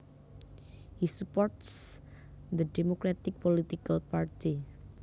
He supports the Democratic political party